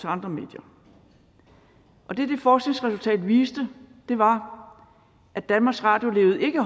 andre medier og det det forskningsresultat viste var at danmarks radio ikke